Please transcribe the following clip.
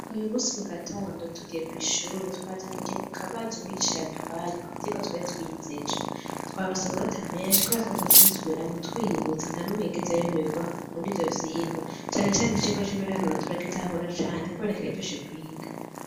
Uyu munsi mu gatondo tugiye kw'ishure, twazindukiye ku kabazo umwigisha yaduhaye, ku vyigwa twari twize ejo. Twaronse amanota menshi, kubera twaguma tubisubiramwo twiyibutsa, nta n'umwe yigeze ayoberwa muri ivyo vyigwa. Cane cane icigwa c'ibiharuro, turagitahura cane, kubera kiraryoshe kwiga.